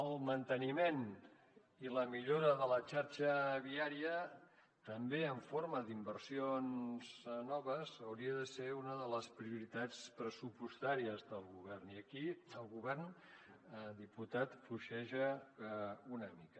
el manteniment i la millora de la xarxa viària també en forma d’inversions noves hauria de ser una de les prioritats pressupostàries del govern i aquí el govern diputat fluixeja una mica